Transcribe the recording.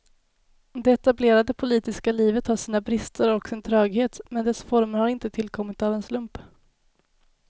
Det etablerade politiska livet har sina brister och sin tröghet, men dess former har inte tillkommit av en slump.